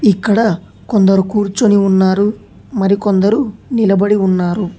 ఇక్కడ కొందరు కూర్చొని ఉన్నారు మరికొందరు నిలబడి ఉన్నారు.